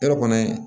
Yɔrɔ kɔni